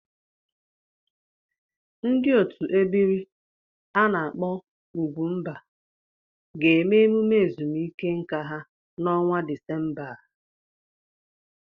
Ndị otu ebiri a na-akpo ugwumba ga-eme emume ezumike nka ha n'ọnwa Disemba a.